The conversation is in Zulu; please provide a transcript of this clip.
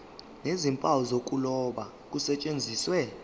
nezimpawu zokuloba kusetshenziswe